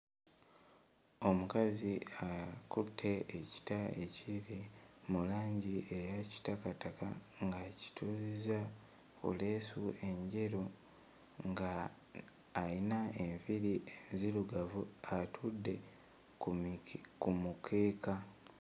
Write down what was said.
Omukazi akutte ekita ekiri mu langi eya kitakataka ng'akituuzizza ku leesu enjeru, nga ayina enviiri enzirugavu atudde ku mike... ku mukeeka.